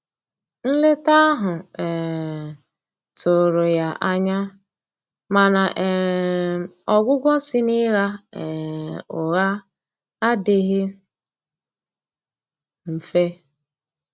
Nleta ahụ um tụrụ ya anya, mana um ọgwugwọ si na Ịgha um ụgha adighi mfe.